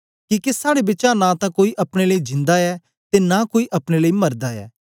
किके साड़े बिचा नां तां कोई अपने लेई जिंदा ऐ ते नां कोई अपने लेई मरदा ऐ